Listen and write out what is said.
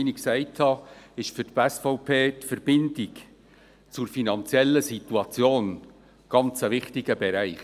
Wie ich gesagt habe, ist für die SVP die Verbindung zur finanziellen Situation ein sehr wichtiger Bereich.